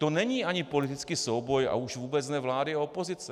To není ani politický souboj, a už vůbec ne vlády a opozice.